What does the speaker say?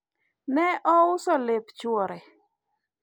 ne ouso lep chuore